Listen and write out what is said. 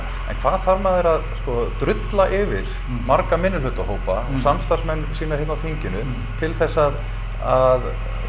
en hvað þarf maður að sko drulla yfir marga minnihlutahópa og samstarfsmenn sína hérna á þinginu til þess að að